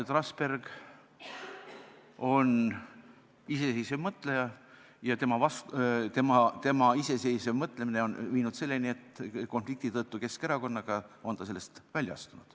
Trasberg on iseseisev mõtleja ja tema iseseisev mõtlemine on viinud selleni, et konflikti tõttu Keskerakonnaga on ta sellest välja astunud.